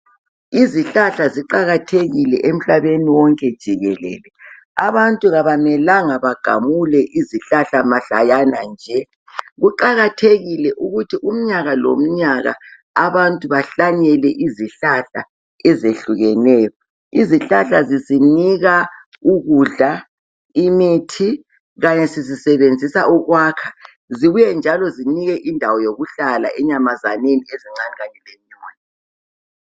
Izihlahla ziqakathekile emhlabeni wonke jikelele. Abantu kabamelanga bagamuke izihlahla mahlayana nje. Kuqakukuthi umnyaka lomnyaka abantu bahlanyele izihlahla ezehlukeneyo. Izihlahla zisinika ukudla, imithi kanye sizisebenzisa ukwakha zibuye zinike njalo indawo yokuhlala enyamazaneni ezincane Kanye lezinkulu.